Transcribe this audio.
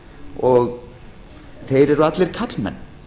og þeir eru allir karlmenn